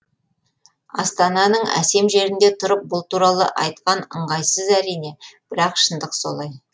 астананың әсем жерінде тұрып бұл туралы айтқан ыңғайсыз әрине бірақ шындық солай